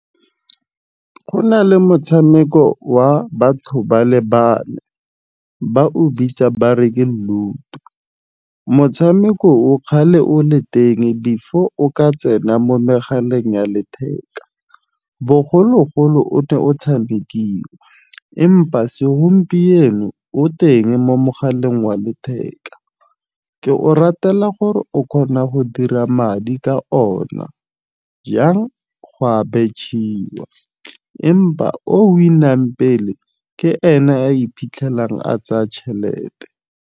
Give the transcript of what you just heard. Go na le motshameko wa batho ba le bane ba o bitsa bare Ke Ludo. Motshameko o kgale o le teng before o ka tsena mo megaleng ya letheka. Bogologolo o ne o tshamikiwa, empa segompieno o teng mo mogaleng wa letheka. Ke o ratela gore o kgona go dira madi ka ona jang go a betšhiwa. Empa o win-ang pele ke ena a iphitlhelang a tsaya tšhelete.